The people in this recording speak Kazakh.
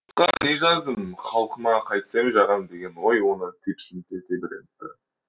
жұртқа не жаздым халқыма қайтсем жағам деген ой оны тепсінте тебірентті